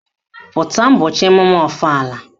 Pụta ụbọchị emume ọfala!